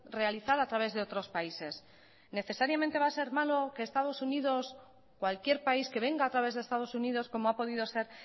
realizar a través de otros países necesariamente va a ser malo que estados unidos cualquier país que venga a través de estados unidos como ha podido ser